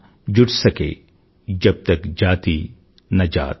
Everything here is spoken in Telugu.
जब तक जाति न जात